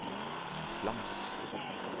islams